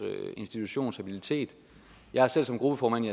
institutions habilitet jeg er selv som gruppeformand i